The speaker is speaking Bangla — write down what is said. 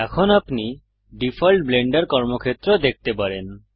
এখন আপনি ডিফল্ট ব্লেন্ডার কর্মক্ষেত্র দেখতে পারেন